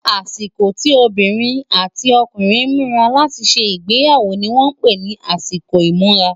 àsìkò tí obìnrin àti ọkùnrin múra láti ṣé igbeyawo ní wón pé nì àsìkò imura